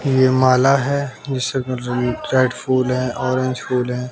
ये माला है जिसमें रेड फुल है ऑरेंज फूल है।